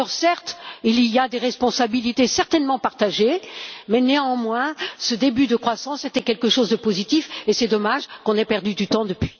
Certes, il y a des responsabilités certainement partagées mais, néanmoins, ce début de croissance était quelque chose de positif, et c'est dommage qu'on ait perdu du temps depuis.